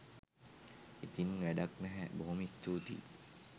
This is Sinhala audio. ඉතින් වැඩක් නැහැ බොහොම ස්තුතියි